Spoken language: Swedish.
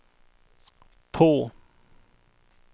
på